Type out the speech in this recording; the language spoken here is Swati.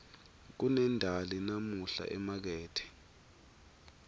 kunendali namuhla emakethe